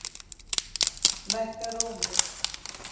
Lækkar róminn.